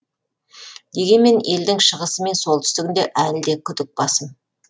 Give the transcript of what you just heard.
дегенмен елдің шығысы мен солтүстігінде әлі де күдік басым